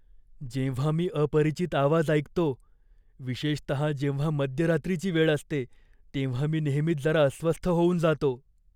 जेव्हा मी अपरिचित आवाज ऐकतो, विशेषतः जेव्हा मध्यरात्रीची वेळ असते, तेव्हा मी नेहमीच जरा अस्वस्थ होऊन जातो.